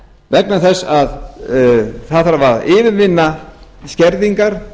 vegna þess að það þarf að yfirvinna skerðingar